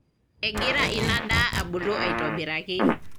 Egira ina daa abulu aitobiraki.